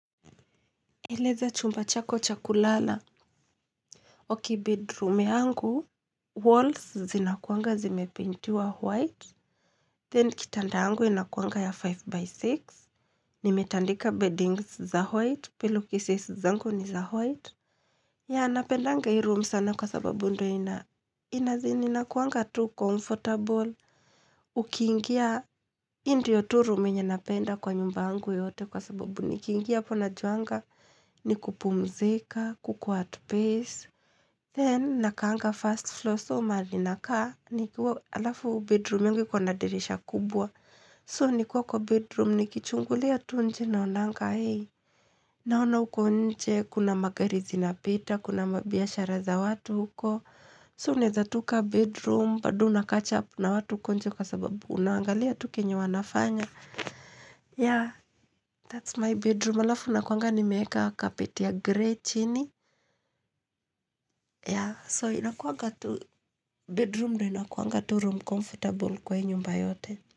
Eleza chumba chako chakulala okei bedroom yangu, walls zinakuanga zimepaintiwa white, then kitanda angu inakuanga ya 5x6, nimetandika beddings za white, pillow cases zangu ni za white. Ya napendanga hii room sana kwa sababu ndo ina inazin inakuanga tu comfortable, ukiingia indio tu room enye napenda kwa nyumbangu yote kwa sababu nikingia apona juanga ni kupumzika, kukua at base. Then, nakaanga first floor, so maali nakaa nikiwa, alafu bedroom yangu iko nadirisha kubwa, so nikiwa kwa bedroom, nikichungulia tunje naonanga hei, naona ukonje, kuna magarizi na pita, kuna mabiashara za watu huko, so naeza toka bedroom, bado una kachap na watu ukonje kwa sababu unaangalia tu kenye wanafanya. Ya that's my bedroom alafu nakuanga ni meeka kapeti ya grey chini ya so inakuanga tu bedroom ndo inakuanga tu room comfortable kwa hii nyumba yote.